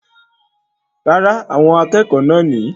Rárá, àwọn akẹ́kọ̀ọ́ náà nìyí